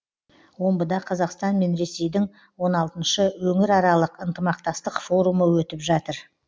омбыда қазақстан мен ресейдің он алтыншы өңіраралық ынтымақтастық форумы өтіп жатыр